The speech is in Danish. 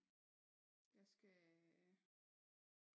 Hvad skal